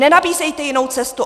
Nenabízejte jinou cestu.